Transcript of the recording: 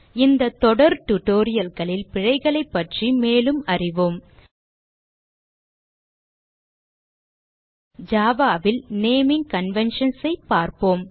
இந்த தொடர் tutorial களில் பிழைகளைப் பற்றி மேலும் அறிவோம் java ல் நேமிங் conventions ஐ பார்ப்போம்